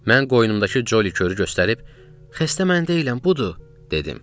Mən qoynumdakı Colly kürü göstərib, xəstə mən deyiləm, budur, dedim.